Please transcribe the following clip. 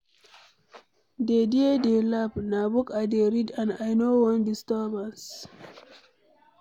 Dey there dey laugh, na book I dey read and I no wan disturbance.